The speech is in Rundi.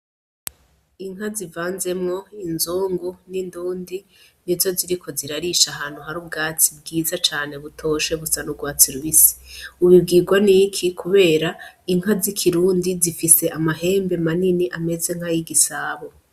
Inka zivanzemwo inzungu n'indundi nizo ziriko zirarisha ahantu hari ubwatsi bwiza cane butoshe, busa n'urwatsi rubisi. Ubibwirwa n'iki ? Kubera inka z'ikirundi zifise amahembe manini ameze nk'ayigisabo.